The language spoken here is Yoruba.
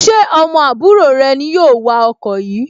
Ṣé ọmọ àbúrò rẹ ni yóò wa ọkọ yìí